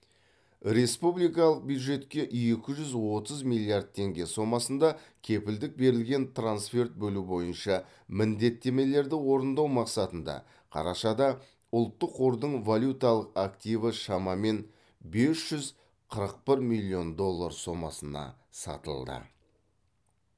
республикалық бюджетке екі жүз отыз миллиард теңге сомасында кепілдік берілген трансферт бөлу бойынша міндеттемелерді орындау мақсатында қарашада ұлттық қордың валюталық активі шамамен бес жүз қырық бір миллион доллар сомасына сатылды